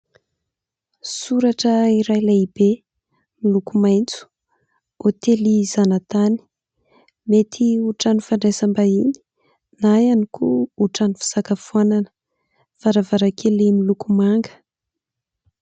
Soratra iray lehibe miloko maitso : "Hôtely Zanatany" ; mety ho trano fandraisam-bahiny na ihany koa ho trano fisakafoanana, varavarankely miloko manga.